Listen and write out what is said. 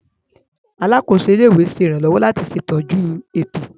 Alakoso ile-iwe ṣe iranlọwọ lati ṣetọju eto.